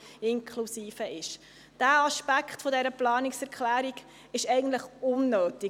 Dieser Aspekt der Planungserklärung ist eigentlich unnötig.